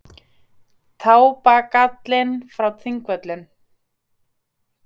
Tá-bagallinn frá Þingvöllum.